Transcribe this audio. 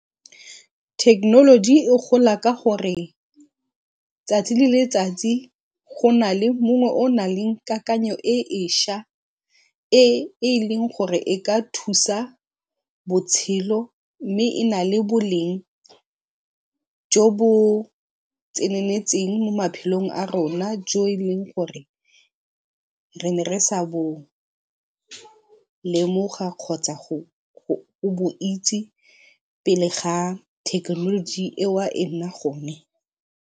Thekenoloji e gola ka gore tsatsi le letsatsi go na le mongwe o o nang le kakanyo e e šwa e e leng gore e ka thusa botshelo mme e na le boleng jo bo tseneletseng mo maphelong a rona jo e leng gore re ne re sa bo lemoga kgotsa go go itse pele ga thekenoloji e e nna gone.